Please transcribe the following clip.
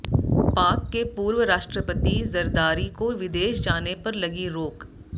पाक के पूर्व राष्ट्रपति जरदारी को विदेश जाने पर लगी रोक